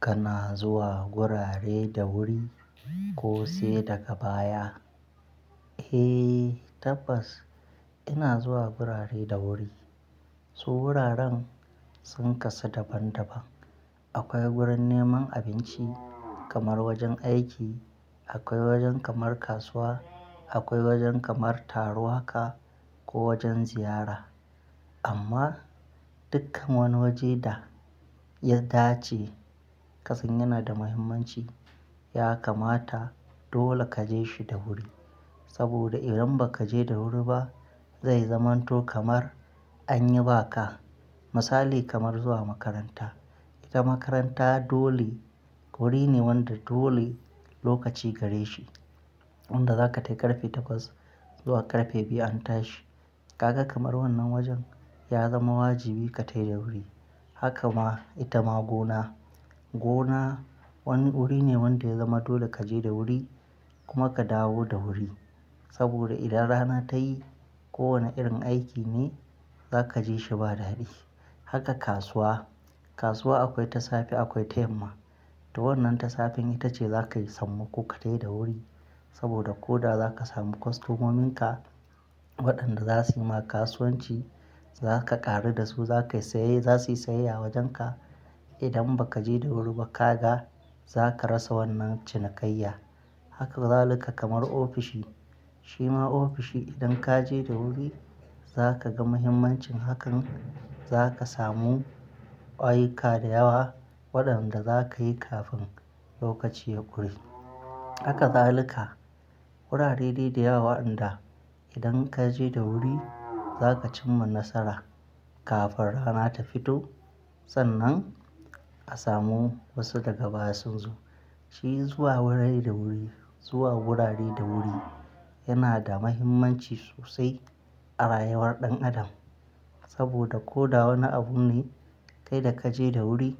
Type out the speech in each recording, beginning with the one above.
Kana zuwa wurare da wuri ko sai daga baya? Eh tabbas ina zuwa wurare da wuri. Su wuraren sun kasa daban-daban. Akwai gurin neman abinci kamar wajen aiki, akwai wajen kamar kasuwa, akwai wajen kamar taruwa ka ko wajen ziyara. Amma dukkan wani waje da ya dace kasan yana da muhimmanci ya kamata dole ka je shi da wuri. Saboda idan ba ka je da wuri ba zai zamanto kamar an yi ba ka. Misali kamar zuwa makaranta. Ita makaranta dole wuri ne wanda dole lokaci gare shi. Wanda za ka tafi ƙarfe takwas zuwa ƙarfe biyu an tashi. Kaka kamar wannan wajen ya zama wajibi ka tafi da wuri. Haka ma ita ma gona. Gona wani wuri ne wanda ya zama dole ka je da wuri kuma ka dawo da wuri. Saboda idan rana ta yi kowane irin aiki ne za ka ji shi ba daɗi. Haka kasuwa, kasuwa akwai ta safe akwai ta yamma. Ta wannan ta safe ita ce za ka samu ko ka tafi da wuri. Saboda ko da za ka samu kwastomominka waɗanda za su ma kasuwanci za ka ƙaru da su za suyi saye a wajenka. Idan ba ka je da wuri ba ka ga za ka rasa wannan cinikayya. Haka za lika kamar ofishi. Shi ma ofishi idan ka je da wuri za ka ga muhimmancin hakan. Za ka samu ayuka da yawa waɗanda za ka yi kafin lokaci ya ƙure. Haka za lika wurare dai da yawa inda idan ka je da wuri za ka cimma nasara kafin rana ta fito. Sannan a samu wasu daga baya sun zo. Shi zuwa wurare da wuri yana da mahimmanci sosai a rayuwar ɗan adam. Saboda ko da wane abu ne kai da ka je da wuri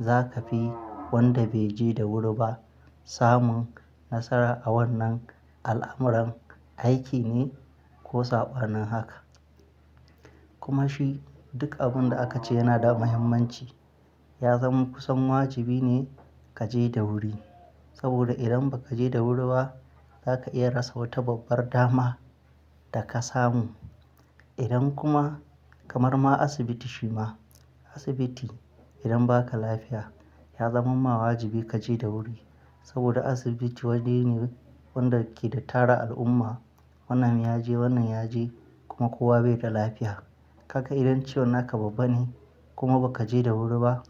za ka fi wanda bai je da wuri ba samun nasara a wannan al'amuran aiki ne ko saƙonin haka. Kuma shi duk abun da aka ce yana da muhimmanci ya zama kusan wajibi ne ka je da wuri. Saboda idan ba ka je da wuri ba za ka iya rasa wata babbar dama da ka samu. Idan kuma kamar ma asibiti shi ma asibiti idan ba ka lafiya ya zama ma wajibi ka je da wuri. Saboda asibiti waje ne wanda ke da tara al'umma. Wannan ya je wannan ya je kuma kowa bai da lafiya. Kaka idan ciwon haka babba ne kuma ba ka je da wuri ba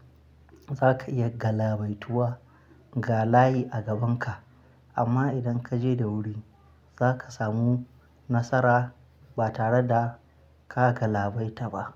za ka iya galabaituwa ga layi a gabanka. Amma idan ka je da wuri za ka samu nasara ba tare da ka galabaita ba.